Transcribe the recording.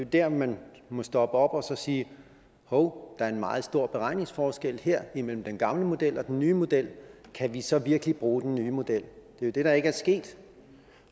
der man må stoppe op og sige hov der er en meget stor beregningsforskel her imellem den gamle model og den nye model kan vi så virkelig bruge den nye model det er det der ikke er sket